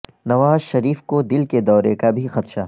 نواز شریف کو دل کے دورے کا بھی خدشہ